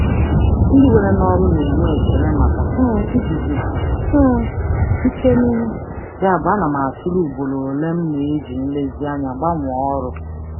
Ndị na-ewe mmadụ n'ọrụ na-enwe n'ọrụ na-enwe ekele maka iguzosi ike n'ihe, yabụ ana m atụle ugboro ole m na-agbanwe ọrụ nke ọma.